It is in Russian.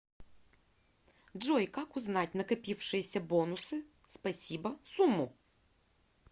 джой как узнать накопившиеся бонусы спасибо сумму